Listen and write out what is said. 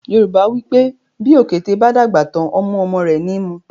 Yorùbá wípé “ bí òkété bá dàgbà tán, ọmú ọmọ rẹ̀ ni í mu”.